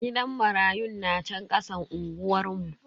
Gidan marayun na chan kasan unguwar mu.